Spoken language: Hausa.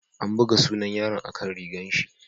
An buga sunan yaron a'kan rigan shi.